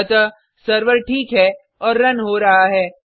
अतः सर्वर ठीक है और रन हो रहा है